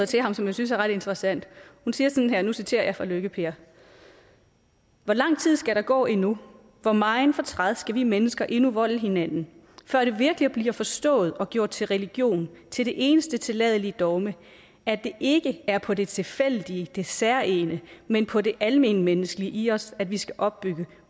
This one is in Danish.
til ham som jeg synes er ret interessant hun siger sådan her og nu citerer jeg fra lykke per hvor lang tid skal der gå endnu hvor megen fortræd skal vi mennesker endnu volde hinanden før det virkelig bliver forstået og gjort til religion til det eneste tilladelige dogme at det ikke er på det tilfældige det særegne men på det almenmenneskelige i os at vi skal opbygge